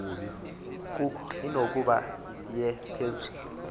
koko inokuba yephezulu